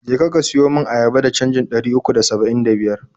Je ka, ka siyo mun ayaba da canjin ɗari uku da saba'in da biyar na.